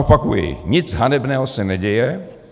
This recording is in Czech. Opakuji, nic hanebného se neděje.